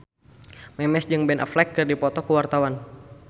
Memes jeung Ben Affleck keur dipoto ku wartawan